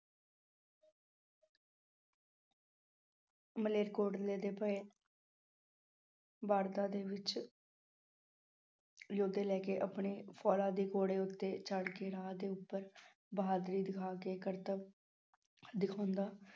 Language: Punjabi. ਮਲੇਰਕੋਟਲੇ ਦੇ ਪਏ ਵੜਦਾ ਦੇ ਵਿੱਚ ਯੋਧੇ ਲੈ ਕੇ ਆਪਣੇ ਦੇ ਘੋੜੇ ਉੱਤੇ ਚੜ੍ਹ ਕੇ ਰਾਹ ਦੇ ਉੱਪਰ ਬਹਾਦਰੀ ਦਿਖਾ ਕੇ ਕਰਤੱਵ ਦਿਖਾਉਂਦਾ